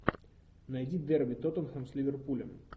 найди дерби тоттенхэм с ливерпулем